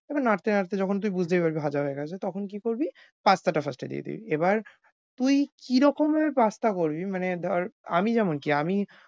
এবার নাড়তে নাড়তে যখন তুই বুঝতেই পারবি ভাজা হয়ে গেছে তখন কী করবি pasta টা first এ দিয়ে দিবি। এবার তুই কী রকমের pasta করবি মানে ধর আমি যেমন চাই আমি